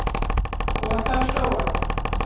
återstår